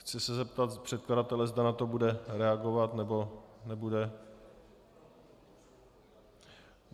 Chci se zeptat předkladatele, zda na to bude reagovat, nebo nebude.